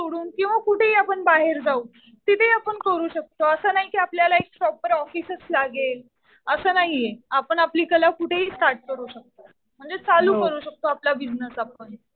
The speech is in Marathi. सोडून किंवा कुठेही आपण बाहेर जाऊ. तिथे आपण करू शकतो. असं नाही कि आपल्याला एक प्रॉपर ऑफिसच लागेल, असं नाहीये. आपण आपली कला कुठेही स्टार्ट करू शकतो. म्हणजे चालू करू शकतो आपला बिजनेस आपण.